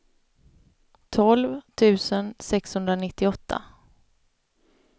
tolv tusen sexhundranittioåtta